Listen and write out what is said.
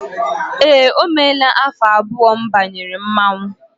Eé, o meela afọ abụọ m banyere mmọnwụ.